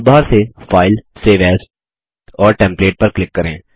toolbar से file save as और templates पर क्लिक करें